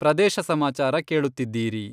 ಪ್ರದೇಶ ಸಮಾಚಾರ ಕೇಳುತ್ತೀದ್ದಿರಿ....